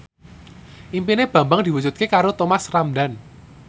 impine Bambang diwujudke karo Thomas Ramdhan